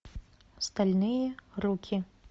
стальные руки